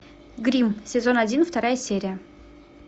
гримм сезон один вторая серия